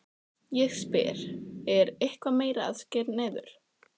Ég spyr, er eitthvað meira að skera niður?